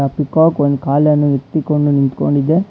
ಆ ಪೀಕೋಕ್ ಒಂದು ಕಾಲನ್ನು ಎತ್ತಿಕೊಂಡು ನಿಂತ್ಕೊಂಡಿದೆ.